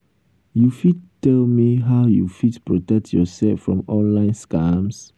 you fit tell me how you fit protect yourself from online scams?